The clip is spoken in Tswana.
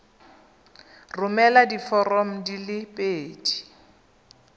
romela diforomo di le pedi